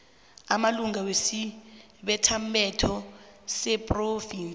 amalunga wesibethamthetho sephrovinsi